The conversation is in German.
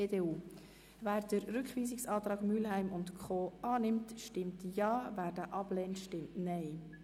Wer den Rückweisungsantrag von Grossrätin Mühlheim annimmt, stimmt Ja, wer diesen ablehnt, stimmt Nein.